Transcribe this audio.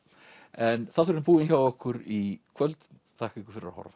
en þátturinn er búinn hjá okkur í kvöld þakka ykkur fyrir að horfa